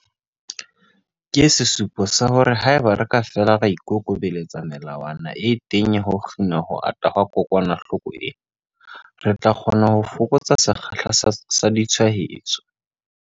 Ke sesupo sa hore haeba re ka fela ra ikokobeletsa melawana e teng ya ho kgina ho ata ha kokwanahloko ena, re tla kgona ho fokotsa sekgahla sa ditshwaetso.